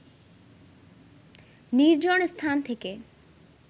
নির্জন স্থান থেকে